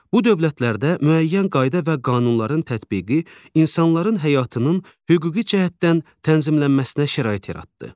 Bu dövlətlərdə müəyyən qayda və qanunların tətbiqi insanların həyatının hüquqi cəhətdən tənzimlənməsinə şərait yaratdı.